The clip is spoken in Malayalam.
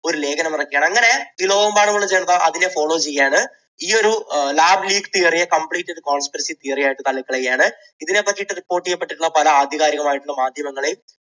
ഒരു ലേഖനം ഇറക്കുകയാണ്. അങ്ങനെ ലോകമെമ്പാടുമുള്ള ജനത അതിനെ follow ചെയ്യുകയാണ്. ഈയൊരു lab leak theory ഒരു complete conspirency theory ആയിട്ട് തള്ളിക്കളയുകയാണ്. ഇതിനെപ്പറ്റി report ചെയ്തിട്ടുള്ള പല ആധികാരികമായ മാധ്യമങ്ങളെയും